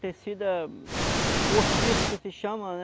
Tecida, postiço que se chama, né?